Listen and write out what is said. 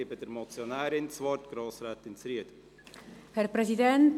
Ich erteile der Motionärin, Grossrätin Zryd, das Wort.